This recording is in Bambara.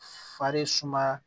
Fari sumaya